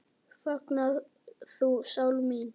Fagna þú, sál mín.